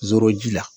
Zoroji la